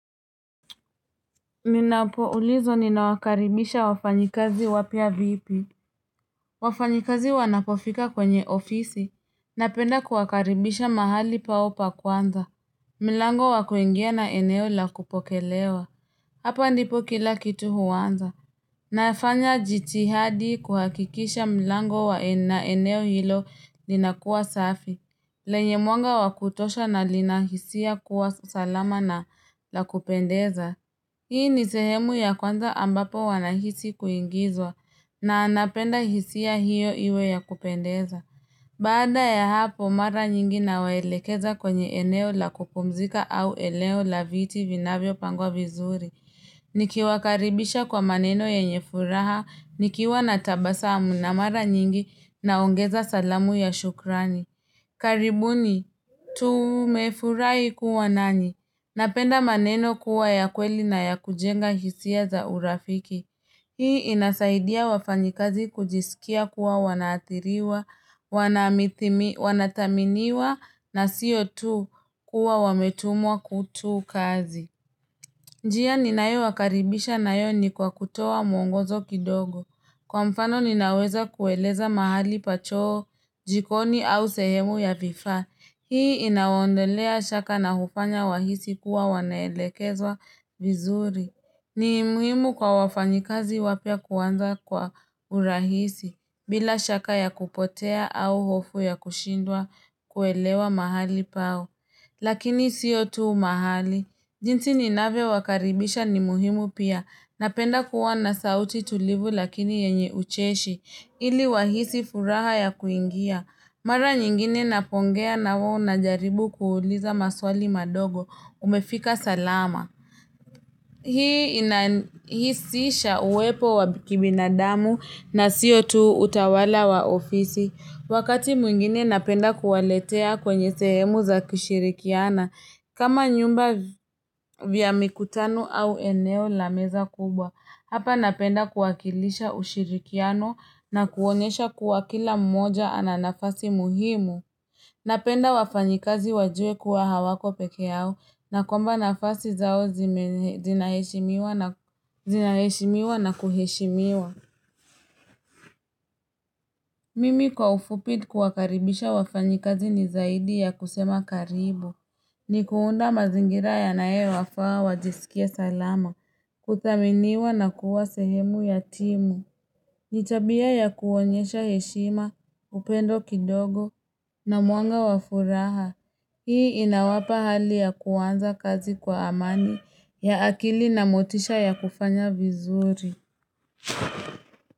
Minapoulizwa ninawakaribisha wafanyikazi wapya vipi? Wafanyikazi wanapofika kwenye ofisi. Napenda kuwakaribisha mahali pao pa kwanza. Mlango wakuingia na eneo lakupokelewa. Hapa ndipo kila kitu huanza. Nafanya jitihadi kuhakikisha mlango wa eneo hilo linakuwa safi. Lenye mwanga wakutosha na linahisia kuwa salama na lakupendeza. Hii ni sehemu ya kwanza ambapo wanahisi kuingizwa na anapenda hisia hiyo iwe ya kupendeza. Bada ya hapo mara nyingi na waelekeza kwenye eneo la kupumzika au eneo la viti vinavyo pangwa vizuri. Nikiwakaribisha kwa maneno yenye furaha, nikiwa natabasamu na mara nyingi naongeza salamu ya shukrani. Karibuni, tumefurahi kuwa nani? Napenda maneno kuwa ya kweli na ya kujenga hisia za urafiki. Hii inasaidia wafanyikazi kujisikia kuwa wanaathiriwa, wanathaminiwa na sio tu kuwa wametumwa kutu kazi. Njia ninayo wakaribisha nayo ni kwa kutoa mwongozo kidogo. Kwa mfano, ninaweza kueleza mahali pa choo, jikoni au sehemu ya vifaa. Hii inawaondelea shaka na hufanya wahisi kuwa wanaelekezwa vizuri. Nimuhimu kwa wafanyikazi wapya kuanza kwa urahisi bila shaka ya kupotea au hofu ya kushindwa kuelewa mahali pao. Lakini sio tu mahali. Jinsi ninavyo wakaribisha ni muhimu pia. Napenda kuwa na sauti tulivu lakini yenye ucheshi ili wahisi furaha ya kuingia. Mara nyingine napongea nawao najaribu kuwauliza maswali madogo, umefika salama? Hii inahusisha uwepo wa kibinadamu na siyo tu utawala wa ofisi. Wakati mwingine napenda kuwaletea kwenye sehemu za kushirikiana. Kama vyumba vya mikutano au eneo lameza kubwa. Hapa napenda kuwakilisha ushirikiano na kuonyesha kuwa kila mmoja ananafasi muhimu. Napenda wafanyikazi wajue kuwa hawako pekeyao, na kwamba nafasi zao zinaheshimiwa na kuheshimiwa. Mimi kwa ufupi kuwakaribisha wafanyikazi ni zaidi ya kusema karibu. Ni kuunda mazingira yanayo wafaa wajisikie salama, kuthaminiwa na kuwa sehemu yatimu. Nitabia ya kuonyesha heshima, upendo kidogo, na mwanga wafuraha. Hii inawapa hali ya kuanza kazi kwa amani ya akili na motisha ya kufanya vizuri.